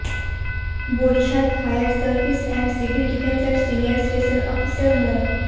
Barishal fire service and civil ডিফেন্সের senior station officer মো